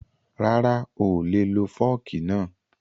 Rara, oolè lo fọ́ọ̀kì náà